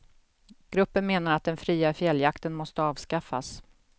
Gruppen menar att den fria fjälljakten måste avskaffas.